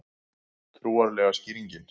Trúarlega skýringin